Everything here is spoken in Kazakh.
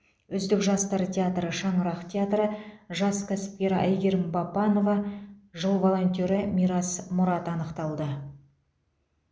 үздік жастар театры шаңырақ театры жас кәсіпкер айгерім бапанова жыл волонтеры мирас мұрат анықталды